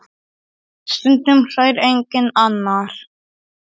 Stundum hlær enginn annar.